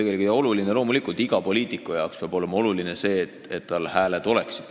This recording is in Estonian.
Loomulikult peab igale poliitikule olema oluline see, et ta saaks hääli.